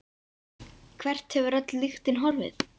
Hvert hefur öll lyktin horfið?